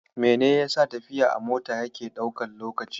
Mene yasa tafiya a mota yake ɗaukan lokaci?